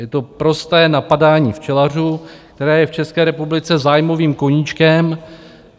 Je to prosté napadání včelařů, které je v České republice zájmovým koníčkem.